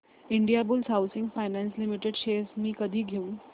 Indiabulls housing finance limited shares मी कधी घेऊ